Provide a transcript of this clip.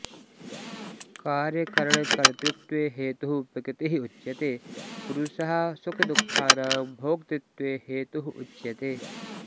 कार्यकरणकर्तृत्वे हेतुः प्रकृतिः उच्यते पुरुषः सुखदुःखानां भोक्तृत्वे हेतुः उच्यते